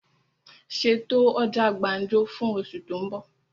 Ṣètò ọjà gbàǹjo fún osù tó ń bọ̀!